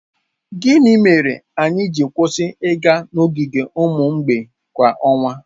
Gịnị mere anyị ji kwụsị ịga n'ogige ụmụ mgbei kwa ọnwa?